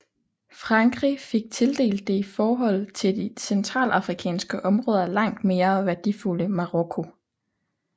Frankrig fik tildelt det i forhold til de centralafrikanske områder langt mere værdifulde Marokko